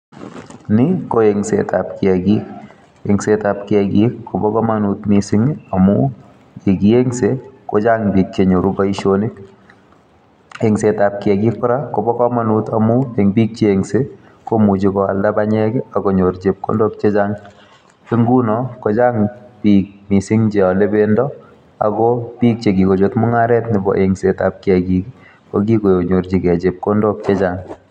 Ni ko eng'setab kiyaagik. Eng'setab kiyaagik, kobo komonut missing amu ye kieng'se kochang' biik che nyoru boisonik. Eng'setab kiyaagik kora kobo komonut amu eng' biik che eng'se, komuchi koalda panyek, akonyor chepkondok chechang'. Nguno, kochang' biik missing che ale pendo, ako biik che kikochut mung'aret nebo eng'setab kiyaagik, ko kikonyorchikey chepkondok chechang'